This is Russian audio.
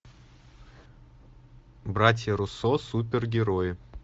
братья руссо супергерои